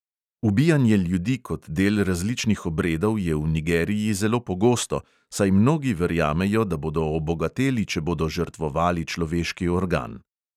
Ubijanje ljudi kot del različnih obredov je v nigeriji zelo pogosto, saj mnogi verjamejo, da bodo obogateli, če bodo žrtvovali človeški organ.